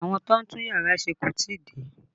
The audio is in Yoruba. Àwọn tó ń tún yàrá ṣe kò tí ì dé